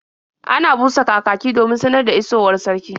Ana busa kakaki domin sanar da isowar sarki.